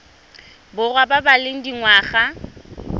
borwa ba ba leng dingwaga